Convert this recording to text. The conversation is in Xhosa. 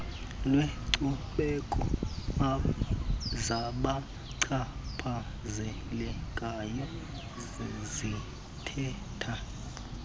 lwenkcubeko zabachaphazelekayo zithetha